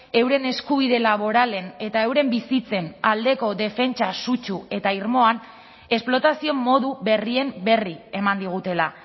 euren eskubide laboralen eta euren bizitzen aldeko defentsa sutsu eta irmoan esplotazio modu berrien berri eman digutela